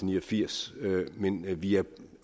ni og firs men vi er